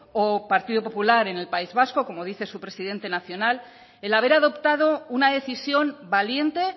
o partido popular en el país vasco como dice su presidente nacional el haber adoptado una decisión valiente